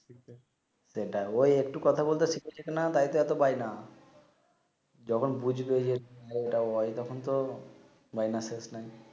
দে ডা ঐ একটু কথা বলতে শিখেছে না তাইতো এতো বায় না যখন বুঝবে এটা ওই তখন তো বায় ম্যাসেজ নাই